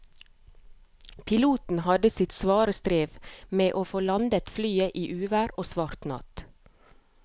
Piloten hadde sitt svare strev med å få landet flyet i uvær og svart natt.